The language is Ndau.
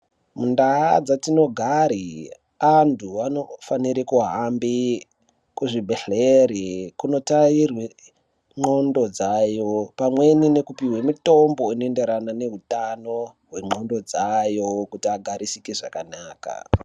Muntaa dzatinogare, antu anofanire kuhambe kuzvibhedhlere ,kunotarirwe ndxondo dzayo, pamweni nekupihwe mitombo inoenderana nehutano , hwendxondo dzayo ,kuti agarisike zvakanaka.